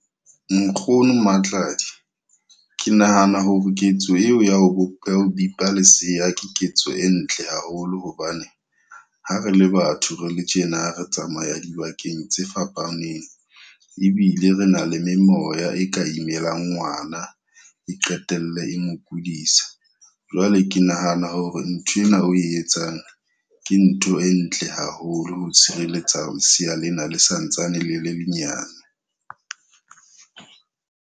Nkgono Matladi, ke nahana hore ketso eo ya ho bipa lesea ke ketso e ntle haholo. Hobane ha re le batho re le tjena re tsamaya dibakeng tse fapaneng ebile re na le memoya e ka imelang ngwana e qetelle e mo kudisa. Jwale ke nahana hore nthwena o e etsang ke ntho e ntle haholo ho tshireletsa lesea lena le santsane le le le nyane.